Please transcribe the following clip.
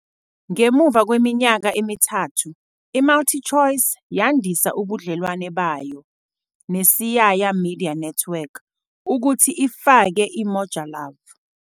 Ngemuva kweminyaka emithathu, iMultiChoice yandisa ubudlelwano bayo neSiyaya Media Network ukuthi ifake iMoja Love.